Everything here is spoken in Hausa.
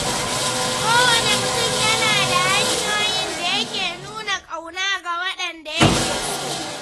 Kowane mutum yana da hanyoyin da yake nuna ƙauna ga waɗanda yake so.